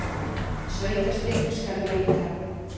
Sveitarstyrk skal veita!